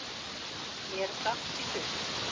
Mér datt í hug